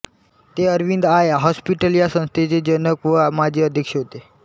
ते Aravind eye hospital या संस्थेचे जनक व माजी अध्यक्ष होते